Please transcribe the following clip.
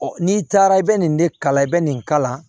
n'i taara i bɛ nin de kala i bɛ nin kalan